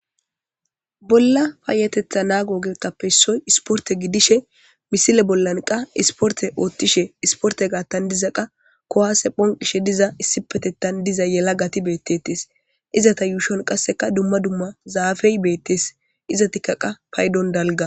Bolla payateththa nago oothuwa isporte gidishshe missile bolla isporte bolla kuwasse bonqishshe issipeteththan de'iza yelagati beteettes qase dumma dumma zafey bettes izetikka qas paydon dalga